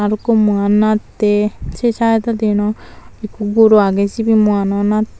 arokko muwan nattey sey sydodi yan eko guro agey sebey muwano nattey.